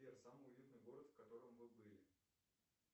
сбер самый уютный город в котором вы были